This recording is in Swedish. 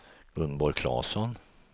Gunborg Claesson